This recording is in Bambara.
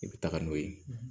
I bɛ taga n'o ye